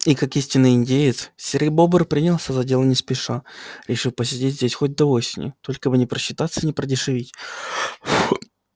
и как истинный индеец серый бобр принялся за дело не спеша решив посидеть здесь хоть до осени только бы не просчитаться не продешевить